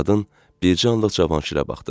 Qadın bircə anlıq Cavanşirə baxdı.